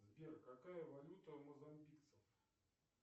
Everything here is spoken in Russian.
сбер какая валюта у мозамбикцев